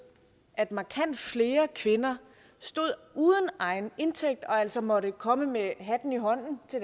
at markant flere kvinder stod uden egen indtægt og altså måtte komme med hatten i hånden til